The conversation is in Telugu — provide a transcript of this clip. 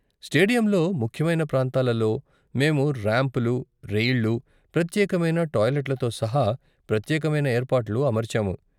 స్టేడియంలో ముఖ్యమైన ప్రాంతాలలో మేము రాంప్లు, రెయిళ్ళు, ప్రత్యేకమైన టాయిలెట్లతో సహా ప్రత్యేకమైన ఏర్పాట్లు అమర్చాము.